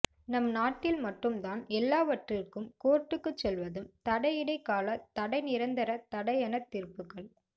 நம் நாட்டில் மட்டும் தான் எல்லாவற்றிற்கும் கோர்ட்டுக்கு செல்வதும் தடை இடை கால தடை நிரந்தர தடை என தீர்ப்புகள்